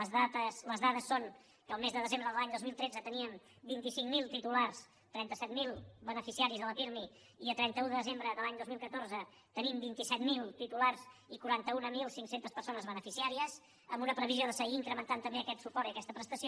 les dades són que el mes de desembre de l’any dos mil tretze teníem vint cinc mil titulars trenta set mil beneficiaris de la pirmi i a trenta un de desembre de l’any dos mil catorze tenim vint set mil titulars i quaranta mil cinc cents persones beneficiàries amb un previsió de seguir incrementant també aquest suport i aquesta prestació